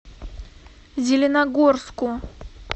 зеленогорску